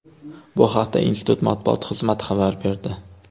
Bu haqda institut matbuot xizmati xabar berdi.